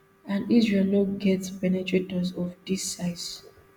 and israel no get penetrators of dis size